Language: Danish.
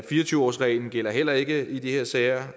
fire og tyve årsreglen gælder heller ikke i de her sager